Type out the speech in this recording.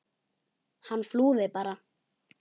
Hann flúði bara!